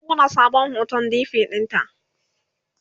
zan buɗe sabon hoton dp ɗinta